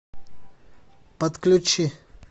подключи